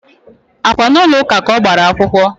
Á kwá n'ulo ụka ka ọ gbara akwụkwọ?